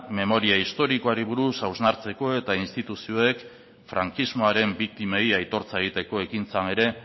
memoria historikoari buruz hausnartzeko eta instituzioek frankismoaren biktimei aitortza egiteko ekintzan ere